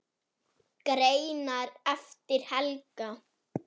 Greinar eftir Helga